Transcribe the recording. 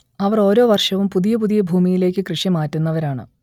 അവർ ഓരോ വർഷവും പുതിയ പുതിയ ഭൂമിയിലേക്ക് കൃഷി മാറ്റുന്നവരാണ്